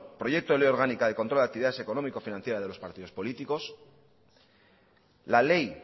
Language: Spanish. proyecto de ley orgánica de control de actividad económico financiera de los partidos políticos la ley